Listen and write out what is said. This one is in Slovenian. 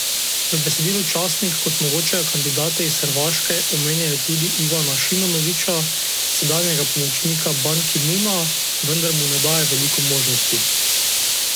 V besedilu časnik kot mogočega kandidata iz Hrvaške omenja tudi Ivana Šimonovića, sedanjega pomočnika Ban Ki Muna, vendar mu ne daje veliko možnosti.